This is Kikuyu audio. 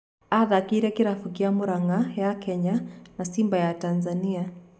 Athakĩire kĩrabu kĩa Muranga ya Kenya na Simba ya Tathania.